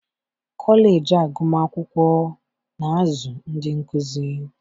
kọleji agụmakwụkwọ na-azụ ndị nkụzi